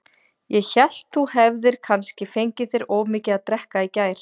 Ég hélt þú hefðir kannski fengið þér of mikið að drekka í gær.